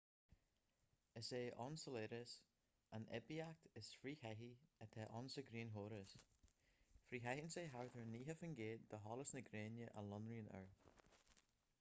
is é enceladus an oibiacht is frithchaití atá ann sa ghrianchóras frithchaitheann sé thart ar 90 faoin gcéad de sholas na gréine a lonraíonn air